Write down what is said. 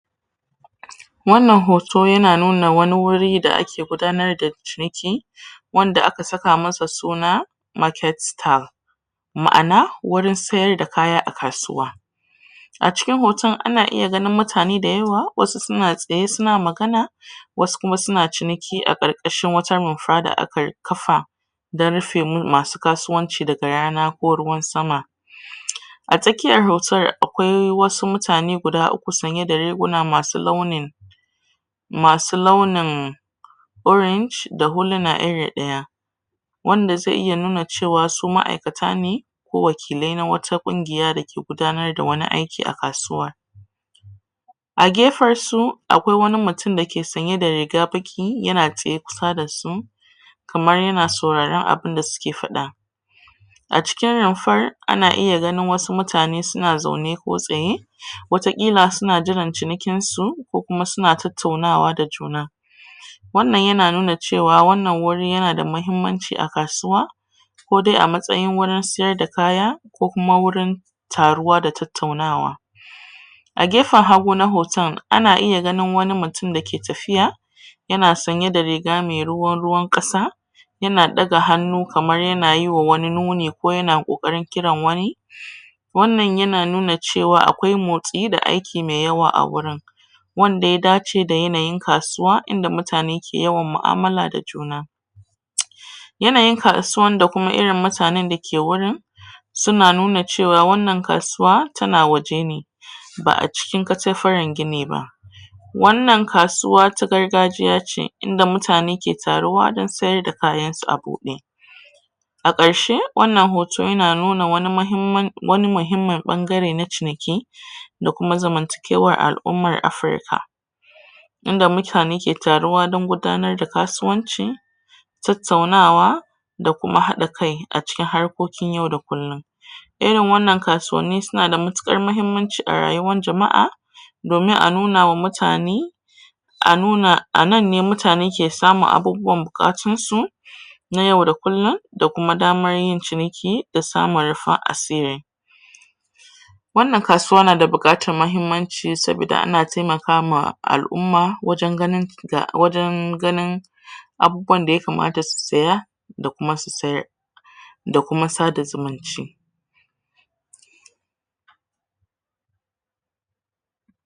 Wannan hoto ya na nuna wani wuri da ake gudanar da ciniki wanda ka saka masa suna market style. Ma'ana, wurin sayar da kaya a kasuwa. A cikin hoton ana iya ganin mutane da yawa, wasu su na tsaye su ns magana, wasu kuma su na ciniki a ƙarƙashin wata rumfa da aka kafa, don rufe mu masu kasuwanci daga rana ko ruwan sama. A tsakiyar hautar akwai wasu mutane guda uku sanye da riguna masu launi masu launin orange da huluna iri ɗaya. Wanda zai iya nuna cewa su ma'aikata ne ko wakilai na wata ƙungiya da ke gudanar da wani aiki a kasuwa. A gefen su akwai wani mutum da ke sanye da riga baƙi, ya na tsaye kusa da su, kamar ya na sauraren abunda suke faɗa. A cikin rumfar ana iya ganin wasu mutane a zaune ko tsaye wataƙila su na jiran cinikin su, ko kuma su na tattaunawa da juna. Wannan ya na nuna cewa wannan wuri ya na da muhimmanci a kasuwa ko dai a matsayin wurin sayar da kaya, ko kuma wurin taruwa da tattaunawa. G efen hagu na hoton, ana iya ganin wani mutum da ke tafiya ya na sanye da riga mai ruwan ƙasa ya na ɗaga hannu kamar ya na yiwa wani nuni ko ya na ƙoƙarin kiran wani. Wannan ya na nuna cewa akwai motsi da aiki mai yawa a wurin. Wanda ya dace da yanayin kasuwa inda mutane ke yawan ma'amala da juna. Ya na kasuwan da kuma irin mutanen da ke wuri su na nuna cewa wannan kasuwa ta na waje ne, ba acikin katafaren gini ba. Wannan kasuwa ta gargajiya ce, inda mutane ke taruwa don sayar da kayan su a buɗe. A ƙarshe, wannan hoto ya na nuna wani muhimman wani muhimmin ɓangare na ciniki da kuma zamantakewar al'ummar Afirika. Inda mutane ke taruwa don gudanar da kasuwanci, tattaunawa da kuma haɗa kai a cikin harkokin yau da kullum. Irin wannan kasuwanni su na da matuƙar mahimmanci a rayuwar jama'a domin a nunawa mutane a nuna, a nan ne mutane ke samun abubuwan buƙatun su na yau da kullum da kuma daman yin ciniki da samun rufin asiri. Wannan kasuwa na buƙatan mahimmanci sabida ana taimaka ma al'umma waje ganin ga wajen ganin abubuwan da ya kamat su saya da kuma su sayar da kuma sada zumunci.